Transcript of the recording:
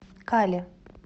кали